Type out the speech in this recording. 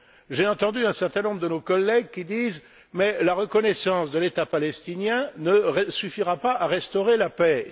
J'ai entendu un certain nombre de nos collègues qui disent que la reconnaissance de l'État palestinien ne suffira pas à restaurer la paix.